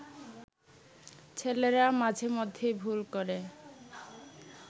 ছেলেরা মাঝে মধ্যে ভুল করে